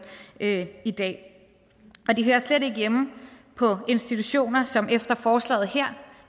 i dag og de hører slet ikke hjemme på institutioner som efter forslaget her